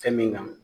Fɛn min kan